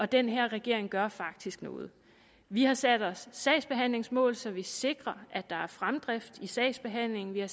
den her regering gør faktisk noget vi har sat os sagsbehandlingsmål så vi sikrer at der er fremdrift i sagsbehandlingen vi har